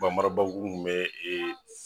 Banbarabankuru kun be e